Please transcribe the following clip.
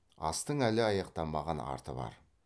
астың әлі аяқтамаған арты бар